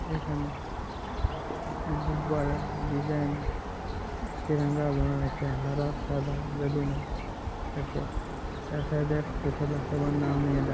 এখানে গুববারার ডিজাইনে তেরেঙ্গা বানাছে হারা সাদা বেলুন -এর এ সাইড -এ একটা ছেলে সবার নাম নিয়ে ডাক --